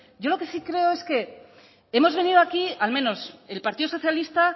yo lo que sí creo es que hemos venido aquí al menos el partido socialista